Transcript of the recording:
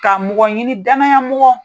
Ka mɔgɔ ɲini damaya mɔgɔ,